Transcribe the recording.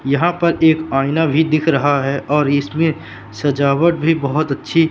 यहां पर एक आईना भी दिख रहा है और इसमें सजावट भी बहोत अच्छी--